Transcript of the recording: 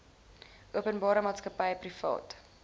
openbare maatskappy privaat